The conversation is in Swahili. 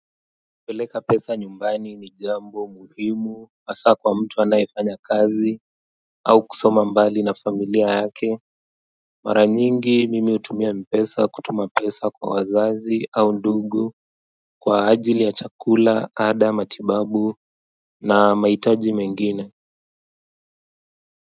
Kupeleka pesa nyumbani ni jambo muhimu hasa kwa mtu anayefanya kazi au kusoma mbali na familia yake mara nyingi mimi hutumia mpesa kutuma pesa kwa wazazi au ndugu kwa ajili ya chakula ada matibabu na mahitaji mengine.